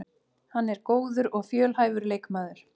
Hann er góður og fjölhæfur leikmaður